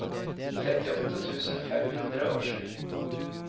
trettiåtte tusen fem hundre og sju